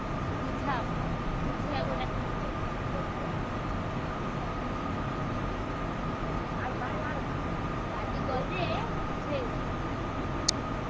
ବୁଝାଅ। ବୁଝେଇଆକୁ ଡ଼ାକିଥିଲେ କାଲି ଗଲେ ବୁଝେଇବୁ।